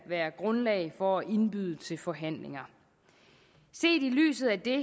være grundlag for at indbyde til forhandlinger set i lyset af det